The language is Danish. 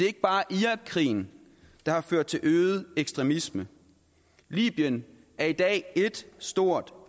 ikke bare irakkrigen der har ført til øget ekstremisme libyen er i dag ét stort